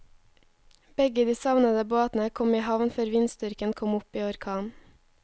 Begge de savnede båtene kom i havn før vindstyrken kom opp i orkan.